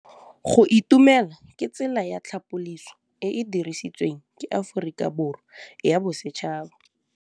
Go itumela ke tsela ya tlhapolisô e e dirisitsweng ke Aforika Borwa ya Bosetšhaba.